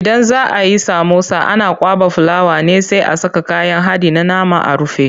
Idan za ayi samosa ana kwaɓa fulawa ne sai a saka kayan haɗin na nama a rufe.